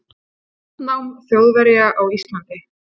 landnám Þjóðverja á Íslandi.